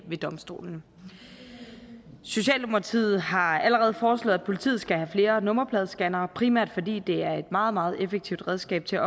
ved domstolene socialdemokratiet har allerede foreslået at politiet skal have flere nummerpladescannere primært fordi det er et meget meget effektivt redskab til